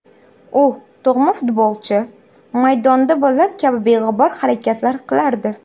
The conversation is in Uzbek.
U tug‘ma futbolchi, maydonda bolalar kabi beg‘ubor harakatlar qilardi”.